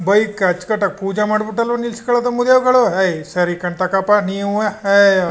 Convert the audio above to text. bike ನ ಅಚ್ಚ್ಕಟ್ಟಾಗಿ ಪೂಜೆ ಮಾಡ್ಬಿಟ್ಟುವ ನಿಲ್ಸ್ಕಳೊದು ಮೂದೇವಿಗಳು ಏಯ್ ಸರಿಕನ್ ತಕಾಳಪ್ಪ ನೀವುವೇ ಏಯ್ --